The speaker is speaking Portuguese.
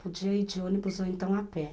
Podia ir de ônibus ou então a pé.